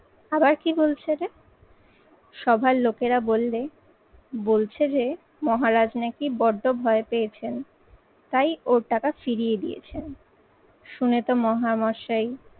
আবার কি বলছে রে? সভার লোকেরা বললে, বলছে যে মহারাজ নাকি বড্ড ভয় পেয়েছেন তাই ওর টাকা ফিরিয়ে দিয়েছেন। শুনে তো মহামশাই